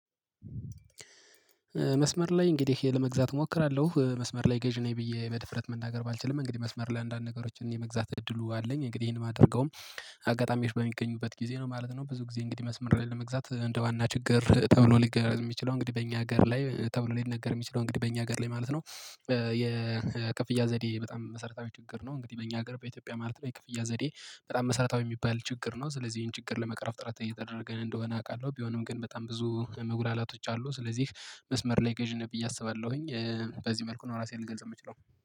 መስመር ላይ እንግዲህ ለመግዛት እሞክራለሁ መስመር ላይ ገዥ ነኝ ብዬ በድፍረት መናገር ባልችልም እንግዲህ መስመር አንዳንድ ነገሮችን የመግዛት እድሉ አለኝ እንግዲህ ይሄን የማደርገውም አጋጣሚወች በሚገኙበት ጊዜ ነው ማለት ነው። ብዙ ጊዜ እንግዲህ መስመር ላይ ለመግዛት እንደ ዋና ችግር ተብሎ ሊነገር የሚችለው እንግዲህ በእኛ ሀገር ላይ ተብሎ ሊነገር የሚችለው እንግዲህ በእኛ ሀገር ላይ ማለት ነው። የክፍያ ዘዴ በጣም መሰረታዊ ችግር ነው። እንግዲህ በእኛ ሀገር በኢትዮጵያ ማለት ነው የክፍያ ዘዴ በጣም መሰረታዊ የሚባል ችግር ነው። ስለዚህ ይሄን ችግር ለመቅረፍ ጥረት እየተደረገን እንደሆነ አውቃለሁ። ቢሆንም ግን በጣም ብዙ መጉላላቶች አሉ። ስለዚህ መስመር ላይ ገዥ ነኝ ብዬ አስባለሁኝ በዚህ መልኩ ነው ራሴን ልገልጽ የምችለው።